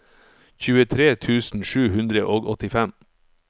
tjuetre tusen sju hundre og åttifem